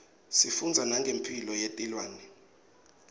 sifundza nangemphilo yetilwane